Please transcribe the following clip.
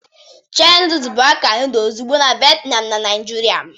Cherie noodles bụ akara noodle ozugbo na Vietnam na Naijiria.